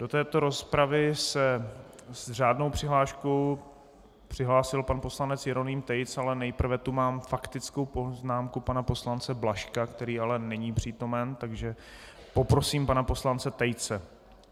Do této rozpravy se s řádnou přihláškou přihlásil pan poslanec Jeroným Tejc, ale nejprve tu mám faktickou poznámku pana poslance Blažka, který ale není přítomen, takže poprosím pana poslance Tejce.